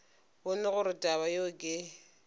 bone gore taba yeo ke